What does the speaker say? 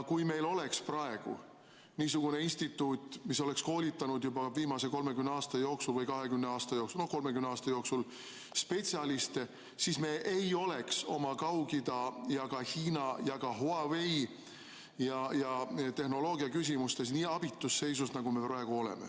Kui meil oleks praegu niisugune instituut, mis oleks koolitanud juba viimase 30 või 20 aasta jooksul, no 30 aasta jooksul spetsialiste, siis me ei oleks oma Kaug-Ida, Hiina ja ka Huawei tehnoloogia küsimustes nii abitus seisus, nagu me praegu oleme.